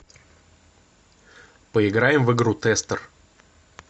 поиграем в игру тестер